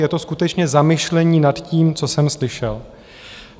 Je to skutečně zamyšlení nad tím, co jsem slyšel.